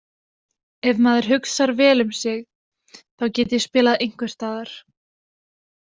Ef maður hugsar vel um sig þá get ég spilað einhversstaðar.